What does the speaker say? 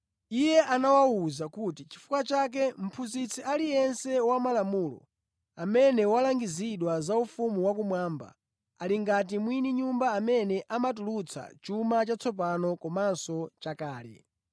Iye anawawuza kuti, “Chifukwa chake mphunzitsi aliyense wa malamulo amene walangizidwa za ufumu wakumwamba ali ngati mwini nyumba amene amatulutsa chuma chatsopano komanso chakale.”